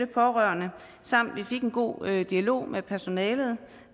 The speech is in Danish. pårørende samt fik en god dialog med personalet